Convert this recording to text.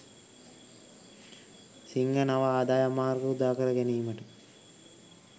සිංහ නව ආදායම් මාර්ග උදාකර ගැනීමට